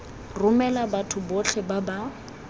romela batho botlhe ba ba